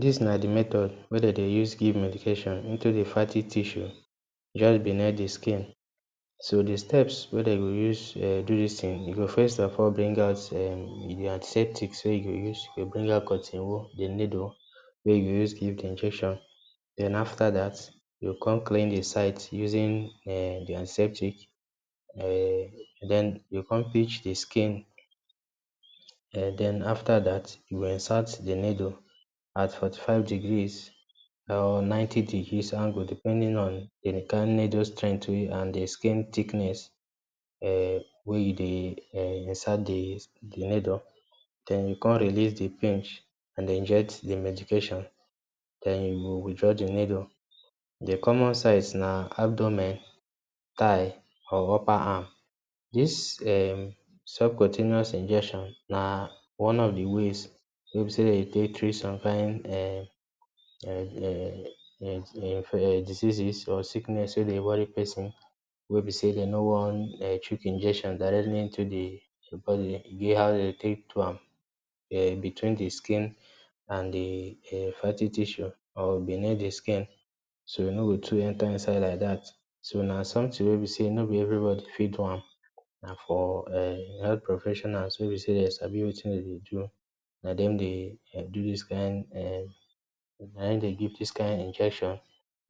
Dis na di method we den dey use give medication into di fatty tissue just beneath di skin. So di steps wey dem go use um do dis tin, you go first of all bring out um di antiseptic wey you go use, you go bring out cotton wool, di needle wey you go use give injection. Den after dat, you go kon clean di sight using um di antiseptic, um den, you go kon pinch di skin, um den after dat you go insert di needle at forty-five degree or ninety degree angle depending on di kind needle strength wey you and di skin thickness, um wey you dey um insert di di needle. Den you go kon release di pinch and inject di medication, um you go withdraw di needle. Di common sides na abdomen, thigh, or upper arm. Dis um self continuance injection na one of di ways wey be sey den dey take treat some kind diseases or sickness wey dey worry person wey be sey den nor wan um chook injection directly into di body, e get how den dey take do am. Um between di skin and di fighting um tissue or beneath di skin, so e no go too enter inside like dat, so na sometin wey be sey nor be everybody fit do am. Na for um health professionals wey be sey den sabi wetin den dey do, na dem dey um do dis kind um na hin dey give dis kind injection.